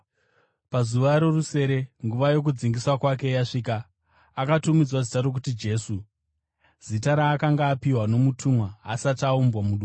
Pazuva rorusere, nguva yokudzingiswa kwake yasvika, akatumidzwa zita rokuti Jesu, zita raakanga apiwa nomutumwa asati aumbwa mudumbu.